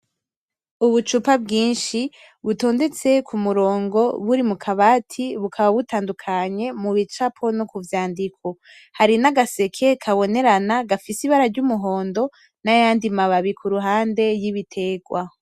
Ubucupa bwinshi butondetse kumurongo buri mukabati, bukaba butandukanye mu bicapo no kubyandiko. Hari n'agaseke kabonerana gafise ibara ry'umuhondo n'ayandi mababi ku ruhande y'ibitegwa.